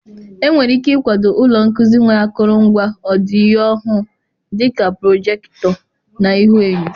Enwere ike ịkwado ụlọ nkuzi nwere akụrụngwa ọdịyo-ọhụụ, dị ka prọjekịtọ na ihuenyo.